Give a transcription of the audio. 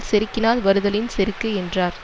செருக்கினால் வருதலின் செருக்கு என்றார்